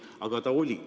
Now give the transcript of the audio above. Aga ta oli.